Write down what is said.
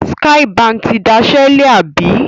Skye Báńkì ti dasẹ́ lẹ̀, àbí?